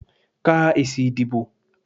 Ka èsì ìdìbò.